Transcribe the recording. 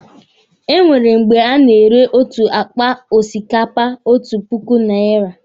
E nwere mgbe a na-ere otu akpa osikapa otu puku naira.